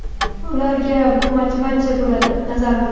ularga bu motivatsiya bo‘ladi, nazarimda.